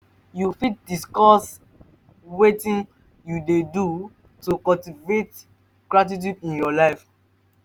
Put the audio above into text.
you fit discuss wetin you dey do to cultivate gratitude in your life?